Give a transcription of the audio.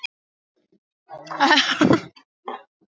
Þeir virðast þá líka ekki vita það sem þeir töldu sig vita.